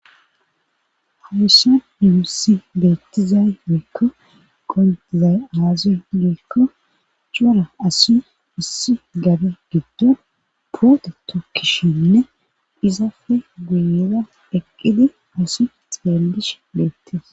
Hawissa diwussi beettizay mekko qondizay aazi giikko cora asi issi gabe giddo poote tokkishinne izafe guyida dheqqidi asi xeellish beettis.